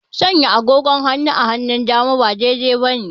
Sanya agogo a hannun dama ba daidai bane